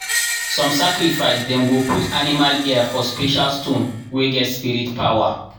some sacrifice dem go put animal ear for special stone wey get spirit power.